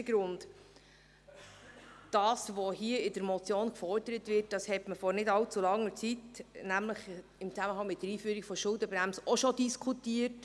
Erster Grund: Das, was hier, mit dieser Motion gefordert wird, hat man vor nicht allzu langer Zeit, im Zusammenhang mit der Schuldenbremse, auch schon diskutiert.